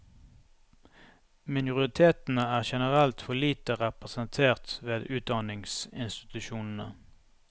Minoritetene er generelt for lite representert ved utdanningsinstitusjonene.